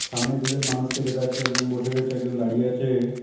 সামনে দুইজন মানুষকে দেখা যাচ্ছে একজন বসে রয়েছে একজন দাঁড়িয়ে আছে।